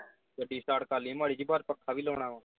ਗੱਡੀ start ਕਰ ਲਈਏ ਮਾੜੀ ਜੀ ਪੱਖਾ ਵੀ ਲਾਉਣਾ।